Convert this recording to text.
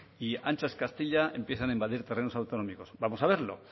y ancha es castilla empiezan a invadir terrenos autonómicos vamos a verlo